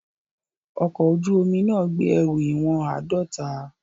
Ọkọ̀ ojú omi náà gbé ẹrù ìwọ̀n àádọ́ta.